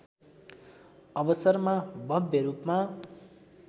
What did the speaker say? अवसरमा भव्य रूपमा